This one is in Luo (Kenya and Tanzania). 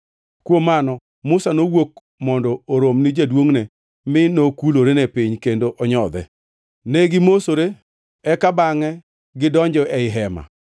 Kuom mano Musa nowuok mondo orom ni jaduongʼne mi nokulore piny kendo onyodhe. Ne gimosore eka bangʼe gidonjo ei hema.